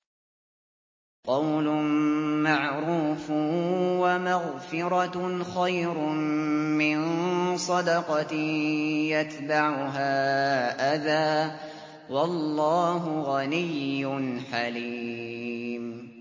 ۞ قَوْلٌ مَّعْرُوفٌ وَمَغْفِرَةٌ خَيْرٌ مِّن صَدَقَةٍ يَتْبَعُهَا أَذًى ۗ وَاللَّهُ غَنِيٌّ حَلِيمٌ